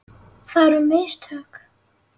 Það eru mistök.